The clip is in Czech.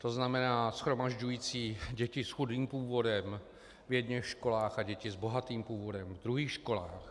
To znamená shromažďující děti s chudým původem v jedněch školách a děti s bohatým původem v druhých školách.